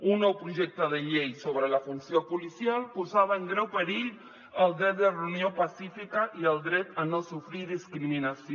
un nou projecte de llei sobre la funció policial posava en greu perill el dret de reunió pacífica i el dret a no sofrir discriminació